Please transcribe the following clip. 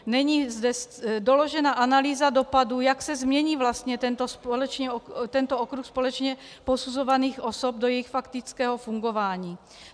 Není zde doložena analýza dopadu, jak se změní vlastně tento okruh společně posuzovaných osob do jejich faktického fungování.